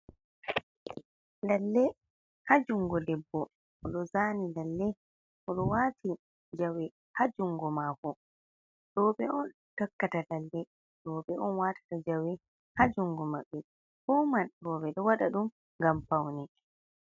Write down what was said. Lalle haa jungo debbo o ɗo zaani, lalle o ɗo waati jawe haa jungo maako roɓe on takkata lalle, roɓe on watata jawe haa jungo maɓɓe, fuu man roɓe ɗo waɗa ɗum ngam paune.